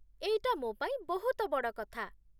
ଏଇଟା ମୋ ପାଇଁ ବହୁତ ବଡ଼ କଥା ।